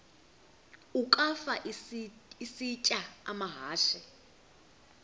ukafa isitya amahashe